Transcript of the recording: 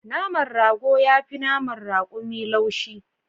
Naman rago yafi naman rakumi laushi